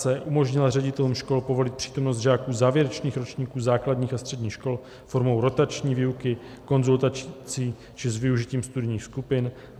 c) umožnila ředitelům škol povolit přítomnost žáků závěrečných ročníků základních a středních škol formou rotační výuky, konzultací či s využitím studijních skupin;